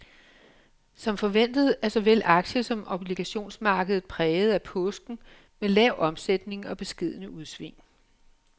Som forventet er såvel aktie som obligationsmarkedet præget af påsken med lav omsætning og beskedne udsving.